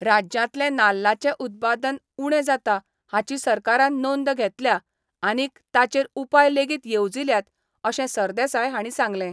राज्यांतले नाल्लांचे उत्पादन उणें जाता हाची सरकारान नोंद घेतल्या आनीक ताचेर उपाय लेगीत येवजील्यात अशें सरदेसाय हांणी सांगलें.